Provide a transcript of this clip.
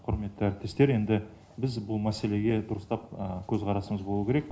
құрметті әріптестер енді біз бұл мәселеге дұрыстап көз қарасымыз болу керек